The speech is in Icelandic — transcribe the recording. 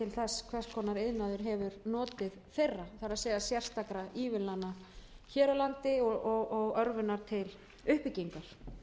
þess hvers konar iðnaður hefur notið þeirra það er sérstakra ívilnana hér á landi og örvunar til uppbyggingar